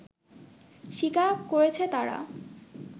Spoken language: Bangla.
স্বীকার করেছে তারা